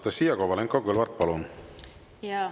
Anastassia Kovalenko-Kõlvart, palun!